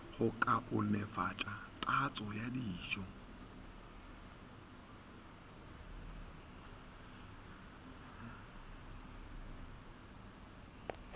go kaonefatša tatso ya dijo